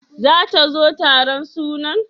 Zata zo taron sunan?